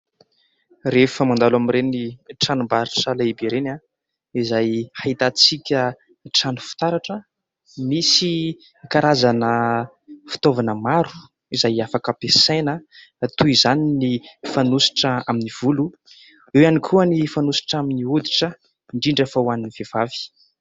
Rehefa mandalo amin'ireny tranombarotra lehibe ireny izay ahitantsika trano fitaratra, misy karazana fitaovana maro izay afaka ampiasaina toy izany ny fanositra amin'ny volo, eo ihany koa ny fanositra amin'ny hoditra indrindra fa ho an'ny vehivavy.